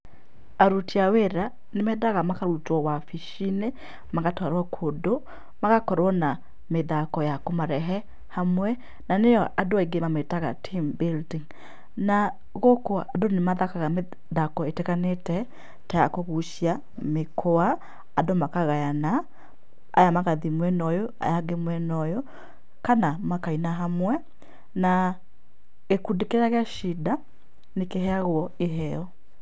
Aruti a wĩra, nĩmendaga makarutwo wabicinĩ, magatwarwo kũndũ. Magakorwo na mĩthako ya kũmarehe hamwe, na nĩo andũ aingĩ mamĩtaga team building. Na gũkũ andũ nĩmathakaga mĩthako ĩtiganĩte ta ya kũgucia mĩkwa. Andũ makagayana, aya magathiĩ mwena ũyũ, aya angĩ mwena ũyũ, kana makaina hamwe na gĩkundi kĩrĩa gĩacinda, nĩkĩheagwo iheo.